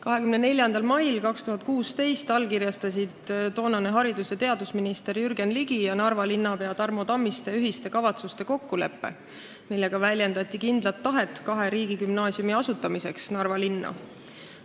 24. mail 2016 allkirjastasid toonane haridus- ja teadusminister Jürgen Ligi ning Narva linnapea Tarmo Tammiste ühiste kavatsuste kokkuleppe, millega väljendati kindlat tahet asutada Narva linnas kaks riigigümnaasiumi.